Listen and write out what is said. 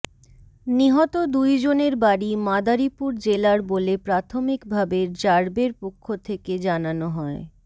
নিহত দুই জনের বাড়ি মাদারীপুর জেলার বলে প্রাথমিকভাবে র্যাবের পক্ষ থেকে জানানো হয়